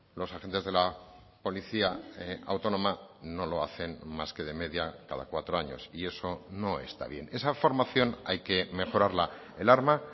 los agentes de la policía autónoma no lo hacen más que de media cada cuatro años y eso no está bien esa formación hay que mejorarla el arma